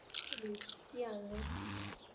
Hello ਕੀ ਹਾਲ ਐ?